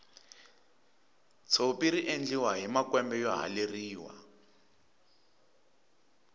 tshopi riendliwa hi makwembe yo haleriwa